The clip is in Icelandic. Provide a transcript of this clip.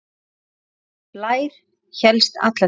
Þessi blær hélst alla tíð.